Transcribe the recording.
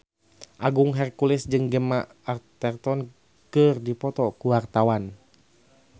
Agung Hercules jeung Gemma Arterton keur dipoto ku wartawan